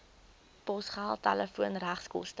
posgeld telefoon regskoste